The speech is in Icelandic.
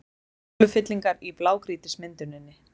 Holufyllingar í blágrýtismynduninni